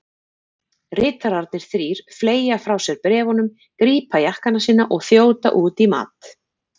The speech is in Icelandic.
Ritararnir þrír fleygja frá sér bréfunum, grípa jakkana sína og þjóta út í mat.